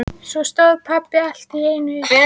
Svo stóð pabbi allt í einu upp.